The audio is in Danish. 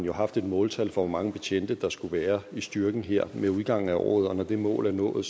har haft et måltal for hvor mange betjente der skulle være i styrken her med udgangen af året og at når det mål er nået